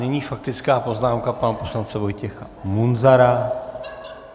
Nyní faktická poznámka pana poslance Vojtěcha Munzara.